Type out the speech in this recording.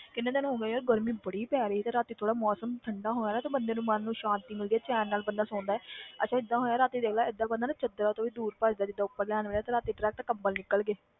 ਕਿੰਨੇ ਦਿਨ ਹੋ ਗਏ ਯਾਰ ਗਰਮੀ ਬੜੀ ਪੈ ਰਹੀ ਤੇ ਰਾਤੀ ਥੋੜ੍ਹਾ ਮੌਸਮ ਠੰਢਾ ਹੋਇਆ ਨਾ ਤੇ ਬੰਦੇ ਨੂੰ ਮਨ ਨੂੰ ਸ਼ਾਂਤੀ ਮਿਲਦੀ ਹੈ ਚੈਨ ਨਾਲ ਬੰਦਾ ਸੋਂਦਾ ਹੈ ਅੱਛਾ ਏਦਾਂ ਹੋਇਆ ਰਾਤੀ ਦੇਖ ਲੈ ਏਦਾਂ ਬੰਦਾ ਨਾ ਚਾਦਰਾਂ ਤੋਂ ਵੀ ਦੂਰ ਭੱਜਦਾ ਹੈ ਜਿੱਦਾਂ ਉੱਪਰ ਲੈਣ ਵਾਲੀਆਂ ਤੇ ਰਾਤੀ direct ਕੰਬਲ ਨਿੱਕਲ ਗਏ।